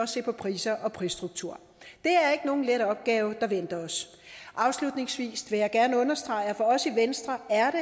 se på priser og prisstruktur det er ikke nogen let opgave der venter os afslutningsvis vil jeg gerne understrege at for os i venstre er